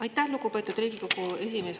Aitäh, lugupeetud Riigikogu esimees!